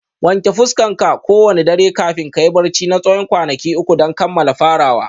Wanke fuskarka kowane dare kafin kayi barci na tsawon kwanaki uku don kammala farawa